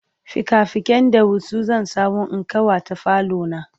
fika fiken ɗawisu zan samu in ƙawata falo na